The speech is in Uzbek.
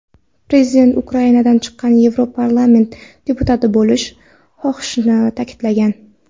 Prezident Ukrainadan chiqqan Yevroparlament deputati bo‘lishni xohlashini ta’kidlagan.